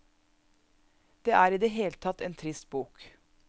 Det er i det hele tatt en trist bok.